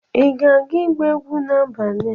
Ị ga-aga igba egwu n'abalị a?